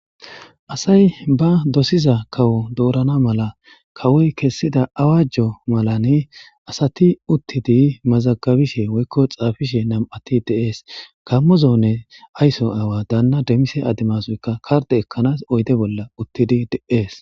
Asay ba dosiza kawo doorana mala kawoy kessida awajjo malani asati uttidi mazagabishe woykko xaafishe nam'ati de7ees kammo zoone ayso aawa daanna demmise ademasoyka karde ekkanaas oyde bolla uttidi de'ees.